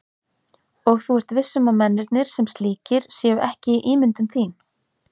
Og þú ert viss um að mennirnir. sem slíkir. séu ekki ímyndun þín?